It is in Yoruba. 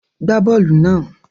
Gbá bọ́ọ́lù náà!